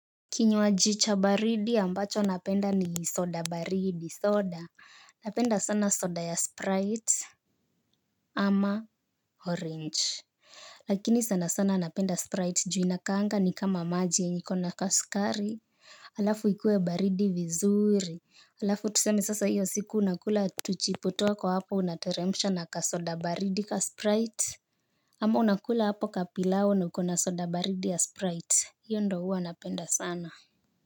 Kinywaji cha baridi ambacho napenda ni soda baridi soda napenda sana soda ya sprite ama orange. Lakini sana sana napenda sprite juu inakaanga ni kama maji yenye iko na kasukari hAlafu ikue baridi vizuri hAlafu tuseme sasa hiyo siku unakula tuchipo twako hapo unateremsha na kasoda baridi ka sprite. Ama unakula hapo kapilau na ukona soda baridi ya sprite. Hiyo ndio huwa anapenda sana na.